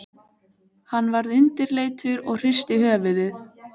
Hann varð undirleitur og hristi höfuðið.